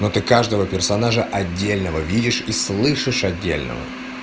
это каждого персонажа отдельного видишь и слышишь отдельного